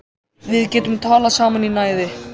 Við getum talað saman í næði